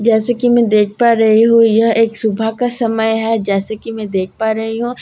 जैसे कि मैं देख पा रही हूं यह एक सुबह का समय है जैसे कि मैं देख पा रही हूं।